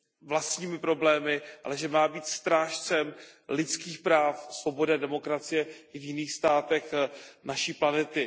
vlastními problémy, ale že má být strážcem lidských práv, svobody a demokracie i v jiných státech naší planety.